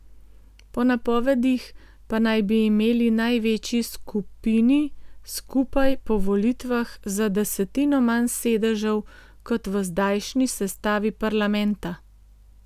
Po napovedih pa naj bi imeli največji skupini skupaj po volitvah za desetino manj sedežev kot v zdajšnji sestavi parlamenta.